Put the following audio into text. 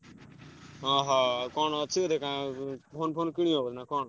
ଅହ କଣ ଅଛି ବୋଧେ କଣ phone phone କିଣିବ ବୋଧେ ନା କଣ?